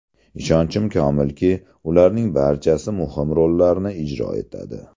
Ishonchim komilki, ularning barchasi muhim rollarni ijro etadi.